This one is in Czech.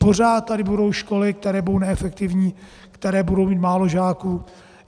Pořád tady budou školy, které budou neefektivní, které budou mít málo žáků.